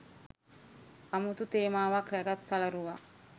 අමුතු තේමාවක් රැගත් සලරුවක්